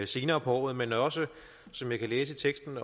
senere på året men også som jeg læser teksten